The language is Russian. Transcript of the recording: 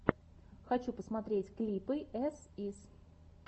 хочу посмотреть клипы эс ис